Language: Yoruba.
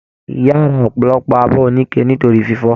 Ìyá rà ọpọlọpọ abọ onike nítorí fífọ.